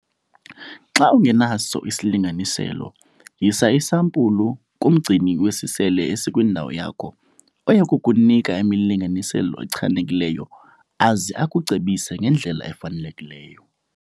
Xa ungenaso isilinganiselo, yisa isampulu kumgcini wesisele esikwindawo yakho oya kukunika imilinganiselo echanekileyo aze akucebise ngendlela efanelekileyo.